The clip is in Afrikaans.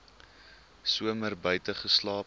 somer buite geslaap